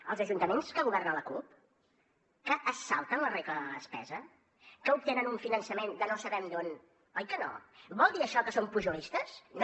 als ajuntaments que governa la cup que es salten la regla de la despesa que obtenen un finançament de no sabem d’on oi que no vol dir això que són pujolistes no